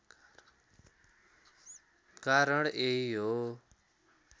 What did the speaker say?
कारण यही हो